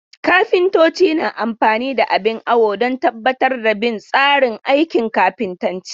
Kafintoci na amfani da abin awo don tabbatar da bin tsari aikin kafintanci.